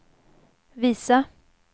visa